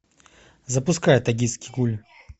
запускай токийский гуль